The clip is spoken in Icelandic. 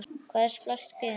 Hvað er splæst gen?